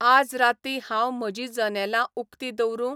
आज राती हाव म्हजी जनेलां उकतीं दवरुं ?